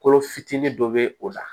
Kolo fitinin dɔ bɛ o la